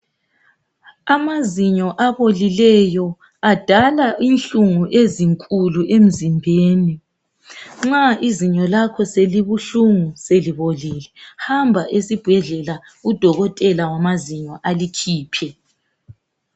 Amazinyo abolileyo adala inhlungu ezinkulu emzimbeni. Nxa izinyo lakho selibuhlungu, selibolile, hamba esibhedlela, udokotela wamazinyo alikhiphe.